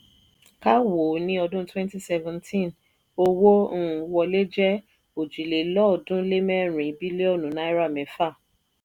ká wò ó ní ọdún twenty seventeen owó um wọlé jẹ́ òjìlélọ́ọ̀ọ́dúnlémẹ́rin bílíọ̀nù náírà mẹ́fà.